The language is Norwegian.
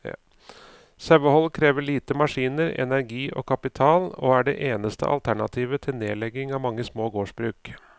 Sauehold krever lite maskiner, energi og kapital, og er det eneste alternativet til nedlegging av mange små gårdsbruk.